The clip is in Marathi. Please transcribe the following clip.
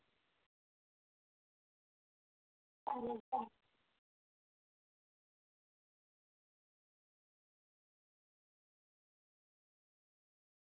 चालेल bye